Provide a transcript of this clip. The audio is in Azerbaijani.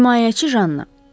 Himayəçi Janna.